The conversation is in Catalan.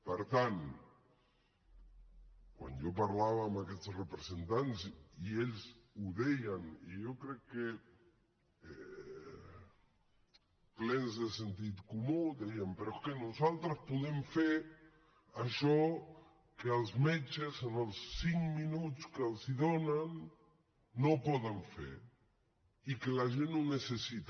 per tant quan jo parlava amb aquests representants ells i jo crec que plens de sentit comú deien però és que nosaltres podem fer això que els metges en els cinc minuts que els donen no poden fer i que la gent necessita